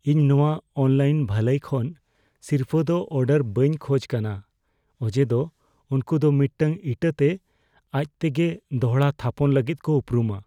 ᱤᱧ ᱱᱚᱶᱟ ᱚᱱᱞᱟᱭᱤᱱ ᱵᱷᱟᱹᱞᱟᱹᱭ ᱠᱷᱚᱱ ᱥᱤᱨᱯᱟᱹ ᱫᱚ ᱚᱨᱰᱟᱨ ᱵᱟᱹᱧ ᱠᱷᱚᱡ ᱠᱟᱱᱟ ᱚᱡᱮᱫᱚ ᱩᱱᱠᱩ ᱫᱚ ᱢᱤᱫᱴᱟᱝ ᱤᱴᱟᱹᱛᱮ ᱟᱡᱛᱮᱜᱮ ᱫᱚᱲᱦᱟ ᱛᱷᱟᱯᱚᱱ ᱞᱟᱹᱜᱤᱫ ᱠᱚ ᱩᱯᱨᱩᱢᱟ ᱾